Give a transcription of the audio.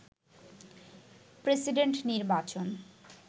president নির্বাচন